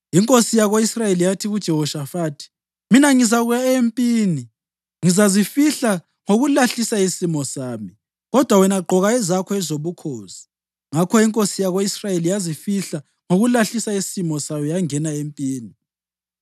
Inkosi yako-Israyeli yathi kuJehoshafathi: “Mina ngizakuya empini ngizazifihla ngokulahlisa isimo sami, kodwa wena gqoka ezakho ezobukhosi.” Ngakho inkosi yako-Israyeli yazifihla ngokulahlisa isimo sayo yangena empini.